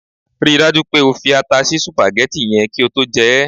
Ri dájú pé o fi ata sí sùpàgẹ́tì yẹn kí o tó jẹ ẹ́!